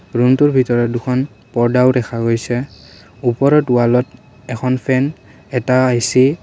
ৰুমটোৰ ভিতৰত দুখন পৰ্দাও দেখা গৈছে ওপৰত ৱালত এখন ফেন এটা এ_চি --